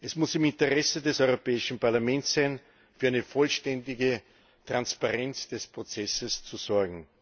Es muss im Interesse des Europäischen Parlaments sein, für eine vollständige Transparenz des Prozesses zu sorgen!